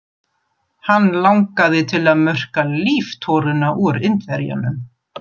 Hann langaði til að murka líftóruna úr Indverjanum.